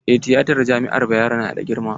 Eh tiyatan jami'ar Bayero na da girma.